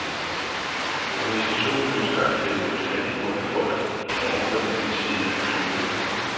Organisationen ønsker at hjælpe et fattigt bondefolk helt ovre på den anden side af kloden.